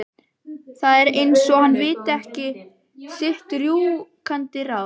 Það er eins og hann viti ekki sitt rjúkandi ráð.